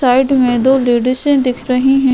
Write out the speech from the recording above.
Side मैं दो ladies ए दिख रही हैं।